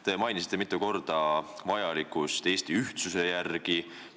Te mainisite mitu korda Eesti ühtsuse vajalikkust.